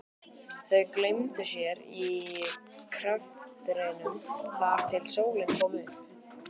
Þau gleymdu sér í greftrinum þar til sólin kom upp.